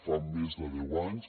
fa més de deu anys